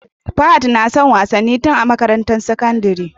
Fahad nason wasanin tun a makarantar sakandari